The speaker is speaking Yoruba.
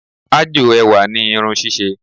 Ájò ẹwà ni irun ṣíṣe